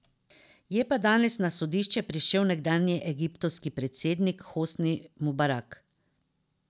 Je pa danes na sodišče prišel nekdanji egiptovski predsednik Hosni Mubarak.